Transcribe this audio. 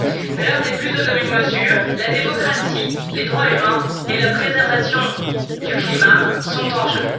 L'heure n'est plus aux demi mesures, la démocratie, les droits humains et la préservation du climat sont en jeu.